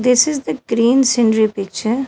This is the green scenery picture.